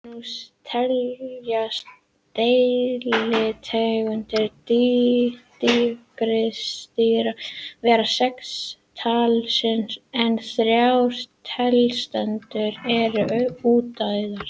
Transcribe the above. Nú teljast deilitegundir tígrisdýra vera sex talsins en þrjár deilitegundir eru útdauðar.